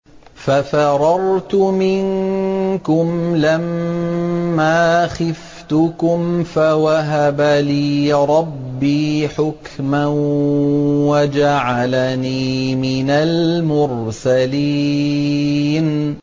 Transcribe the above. فَفَرَرْتُ مِنكُمْ لَمَّا خِفْتُكُمْ فَوَهَبَ لِي رَبِّي حُكْمًا وَجَعَلَنِي مِنَ الْمُرْسَلِينَ